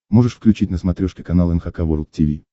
можешь включить на смотрешке канал эн эйч кей волд ти ви